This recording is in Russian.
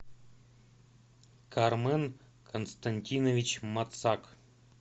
кармен константинович мацак